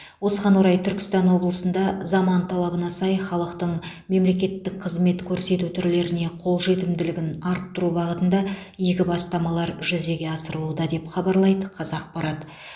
осыған орай түркістан облысында заман талабына сай халықтың мемлекеттік қызмет көрсету түрлеріне қолжетімділігін арттыру бағытында игі бастамалар жүзеге асырылуда деп хабарлайды қазақпарат